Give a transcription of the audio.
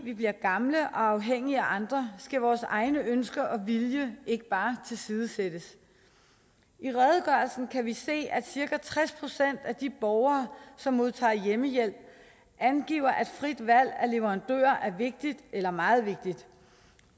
vi bliver gamle og afhængige af andre skal vores egne ønsker og vilje ikke tilsidesættes i redegørelsen kan vi se at cirka tres procent af de borgere som modtager hjemmehjælp angiver at frit valg af leverandør er vigtigt eller meget vigtigt